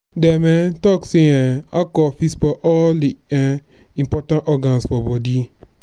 dem um talk sey um alcohol fit spoil all di um important organ for bodi.